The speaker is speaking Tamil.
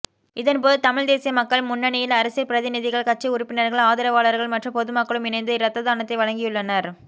இதன் போதுதமிழ்த் தேசிய மக்கள் முன்னணியில் அரசியல் பிரதிநிதிகள் கட்சி உறுப்பினர்கள் ஆதரவாளர்கள்மற்றும் பொது மக்களும் இணைந்து இரத்ததானத்தை வழங்கியுள்ளனர்